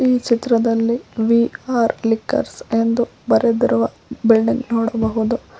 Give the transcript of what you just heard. ಈ ಚಿತ್ರದಲ್ಲಿ V R liquors ಎಂದು ಬರೆದಿರುವ ಬಿಲ್ಡಿಂಗ್ ನೋಡಬಹುದು.